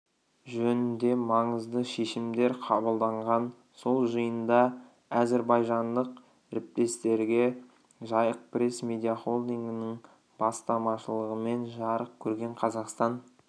жөнінде маңызды шешімдер қабылданған сол жиында әзірбайжандық ріптестерге жайық пресс медиахолдингінің бастамашылығымен жарық көрген қазақстан